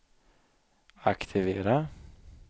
aktivera